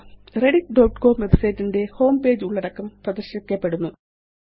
Rediff.com website ന്റെ home page ഉള്ളടക്കം പ്രദര്ശിപ്പിക്കപ്പെടുന്നു